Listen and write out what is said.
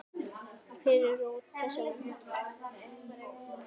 Hver er rót þessa vanda?